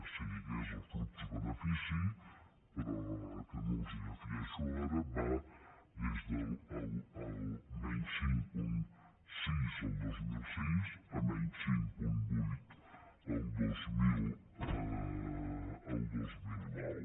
si digués el flux benefici però que no els el defineixo ara va des del menys cinc coma sis el dos mil sis a menys cinc coma vuit el dos mil nou